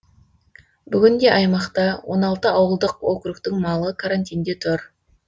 бүгінде аймақта он алты ауылдық округтің малы карантинде тұр